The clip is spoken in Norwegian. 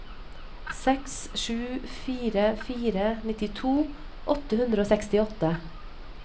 seks sju fire fire nittito åtte hundre og sekstiåtte